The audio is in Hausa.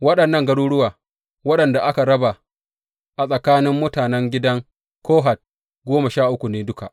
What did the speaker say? Waɗannan garuruwa waɗanda aka raba a tsakanin mutanen gidan Kohat, goma sha uku ne duka.